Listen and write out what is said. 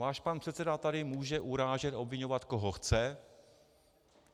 Váš pan předseda tady může urážet, obviňovat, koho chce.